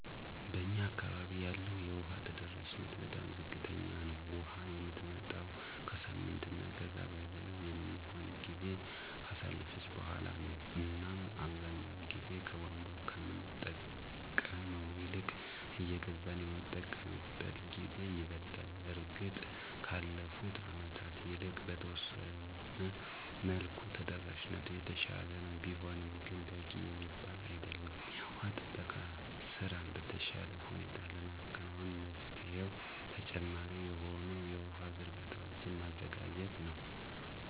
በእኛ አካባቢ ያለው የውሃ ተደራሽነት በጣም ዝቅተኛ ነው። ውሃ የምትመጣውም ከሳምንት እና ከዛ በላይ የሚሆን ጊዜን ካሳለፈች በኋላ ነው እናም አብዛኛውን ጊዜ ከቧንቧ ከምንጠቀመው ይልቅ እየገዛን የምንጠቀምበት ጊዜ ይበልጣል። እርግጥ ከአለፉት አመታት ይልቅ በተወሰነ መልኩ ተደራሽነቱ የተሻለ ነው፤ ቢሆንም ግን በቂ የሚባል አይደለም። የውሃ ጥበቃ ስራን በተሻለ ሁኔታ ለማከናወን መፍትሄው ተጨማሪ የሆኑ የውሃ ዝርጋታዎችን ማዘጋጀት ነው።